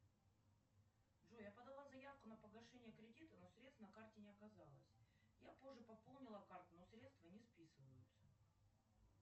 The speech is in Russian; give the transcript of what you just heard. джой я подала заявку на погашение кредита но средств на карте не оказалось я позже пополнила карту но средства не списываются